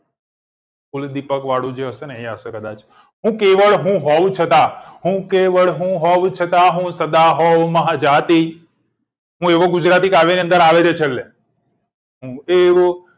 કુળદીપક વાળું જે હશે ને એ હશે કદાચ હું કેવળ હું હોવ છતાં હું કેવળ હું હોવ છતાં હું સદા હોવ મહાજાતી હું એવો ગુજરાતી કાવ્ય ની અંદર આવે છે છેલ્લે હું એવો